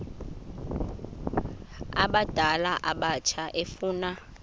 abadala abatsha efuna